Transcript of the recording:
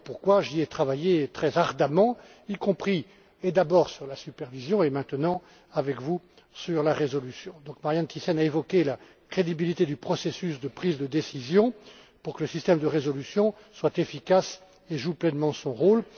C'est d'ailleurs pourquoi j'y ai travaillé très ardemment, y compris et d'abord sur la supervision et maintenant, avec vous, sur la résolution. Marianne Thyssen a évoqué la crédibilité du processus de prise de décision pour que le système de résolution soit efficace et joue pleinement son